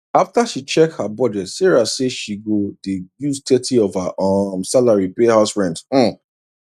after she check her budget sarah say she go dey use thirty of her um salary pay house rent um